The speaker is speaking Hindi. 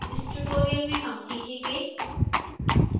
इस tutorial में हम सीखेंगेः